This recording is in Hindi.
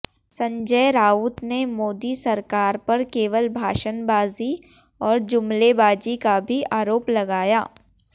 संजय राउत ने मोदी सरकार पर केवल भाषणबाजी और जुमलेबाजी का भी आरोप लगाया